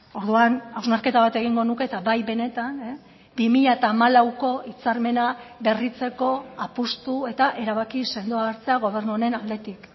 orduan hausnarketa bat egingo nuke eta bai benetan bi mila hamalauko hitzarmena berritzeko apustu eta erabaki sendoa hartzea gobernu honen aldetik